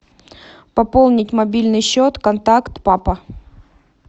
пополнить мобильный счет контакт папа